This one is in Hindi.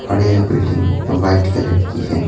और यह बिल्डिंग वाइट कलर की है।